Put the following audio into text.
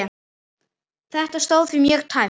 Þetta stóð því mjög tæpt.